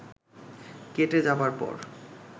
কেটে যাবার পর